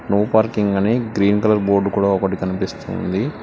Super king అనే green colour board కూడా ఒకటి కనిపిస్తుంది.